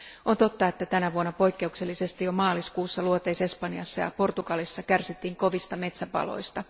On totta, että tänä vuonna poikkeuksellisesti jo maaliskuussa Luoteis Espanjassa ja Portugalissa kärsittiin kovista metsäpaloista.